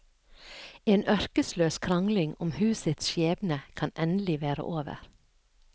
En ørkesløs krangling om husets skjebne kan endelig være over.